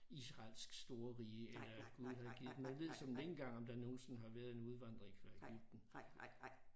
Israelsk storrige eller gud havde givet dem man ved såmænd ikke engang om der nogensinde har været en udvandring fra Egypten